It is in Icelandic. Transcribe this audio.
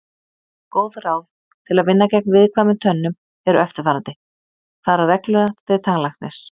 Góð ráð til að vinna gegn viðkvæmum tönnum eru eftirfarandi: Fara reglulega til tannlæknis.